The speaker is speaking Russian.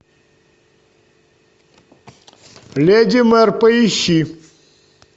леди мэр поищи